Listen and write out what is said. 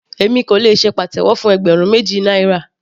Èmi kò lè ṣe pàtẹ́wọ́ fún ẹgbẹ̀rún méjì náírà.